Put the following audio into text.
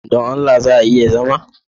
Don Allah za a iya zama?